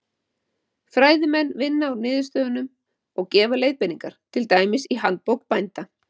Fræðimenn vinna úr niðurstöðunum og gefa leiðbeiningar, til dæmis í Handbók bænda.